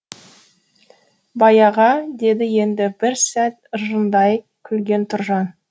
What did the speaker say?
байаға деді енді бір сәт ыржаңдай күлген тұржан